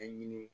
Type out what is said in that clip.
A ɲini